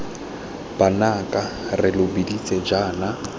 banaka re lo biditse jaana